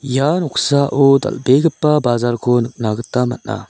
ia noksao dal·begipa bajarko nikna gita man·a.